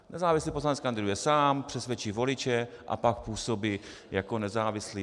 Nezávislý poslanec kandiduje sám, přesvědčí voliče a pak působí jako nezávislý.